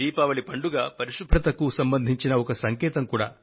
దీపావళి పండుగ పరిశుభ్రతకు సంబంధించిన ఒక సంకేతం కూడా